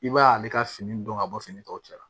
I b'a ye ale ka fini don ka bɔ fini tɔw cɛla